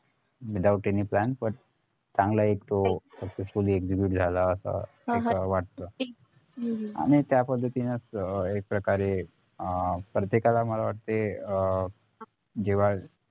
without any plan but चांगला एक तो successfully execute झाला असा असं वाटत आणि त्याच पद्धतीने एक प्रकारे आह प्रत्येकाला मला वाटतंय अं जेव्हा